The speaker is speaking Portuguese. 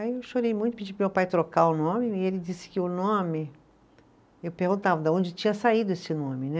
Aí eu chorei muito, pedi para o meu pai trocar o nome, e ele disse que o nome, eu perguntava de onde tinha saído esse nome, né?